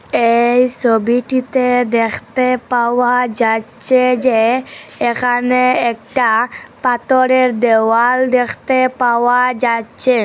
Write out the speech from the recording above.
এই ছবিটিতে দেখতে পাওয়া যাচ্ছে যে এখানে একটা পাথরের দেওয়াল দেখতে পাওয়া যাচ্ছে।